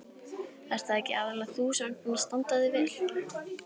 Ert það ekki aðallega þú sem ert búin að standa þig vel?